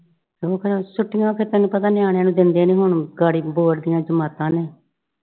ਹੋਰ ਫੇਰ ਛੁੱਟੀਆਂ ਫਿਰ ਤੈਨੂੰ ਪਤਾ ਨਿਆਣਿਆਂ ਨੂੰ ਦਿੰਦੇ ਨਈਂ ਹੁਣ board ਦੀਆਂ ਜਮਾਤਾਂ ਨੇ।